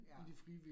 Ja